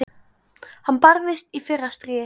Hann barðist í fyrra stríði.